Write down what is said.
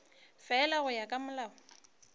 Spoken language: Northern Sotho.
fela go ya ka molao